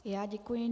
Já děkuji.